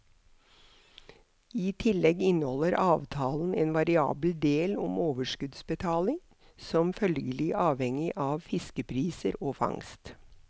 I tillegg inneholder avtalen en variabel del om overskuddsbetaling, som følgelig avhenger av fiskepriser og fangst.